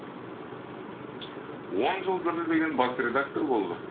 он жыл дүрілдеген бас редактор болды